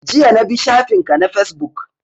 Jiya na bi shafin ka na Fesbook